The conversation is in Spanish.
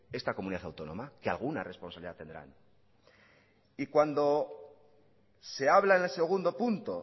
esta comunidad autónoma que alguna responsabilidad tendrán y cuando se habla en el segundo punto